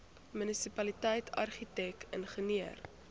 munisipaliteit argitek ingenieur